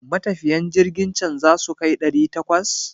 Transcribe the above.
Matafiyan jirkin can zasu kai ɗari takwas?